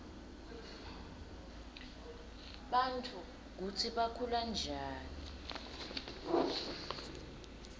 bantfu kutsi bakhulanjani